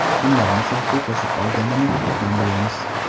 Kimlarni safga qo‘shib olganini ham bilamiz.